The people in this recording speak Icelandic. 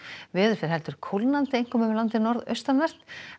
veður fer heldur kólnandi einkum um landið norðaustanvert